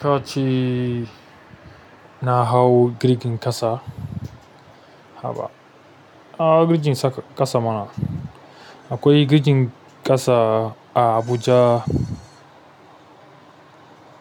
Ka ce na hau girgin ƙasa. Haba, na hau girjin saka ƙasa mana. Akwai girjin ƙasa a Abuja.